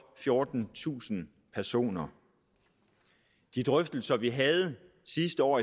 fjortentusind personer i de drøftelser vi havde sidste år